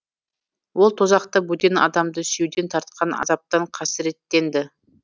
ол тозақта бөтен адамды сүюден тартқан азаптан қасіреттенді